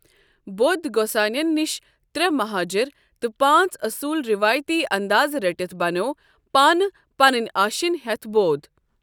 بودھ گۄسٲنیس نشہ تریہٚ محاجر تہ پانژھ اصول روایتی ااندازٕ رٔٹِتھ بنیوو پانہ پنٕنیۍ آشیٚنۍ ہیتھ بودھ۔